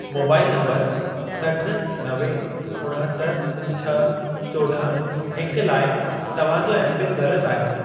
Mobile number सठ, नवे, उणहतरि, छह, चोॾहं, हिकु लाइ तव्हां जो एमपिन ग़लत आहे।